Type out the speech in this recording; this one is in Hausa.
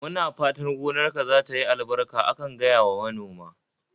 Muna fatan gonarka zatayi albarka akan gaya wa manoma